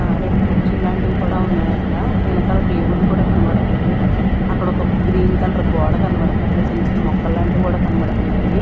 ఆరేడు కుర్చీలాంటివి కూడా ఉన్నాయి అక్కడ వెనకాల ప్లే వుడ్ కూడా కనబడతుంది అక్కడ ఒక గ్రీన్ కలర్ గోడ కనపడతుంది అక్కడ చిన్నచిన్న మొక్కలు లాంటివి కూడా కనపడతున్నాయి.